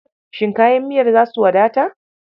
Shin kayan miyar za su wadatar?